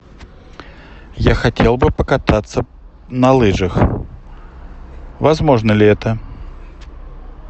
я хотел бы покататься на лыжах возможно ли это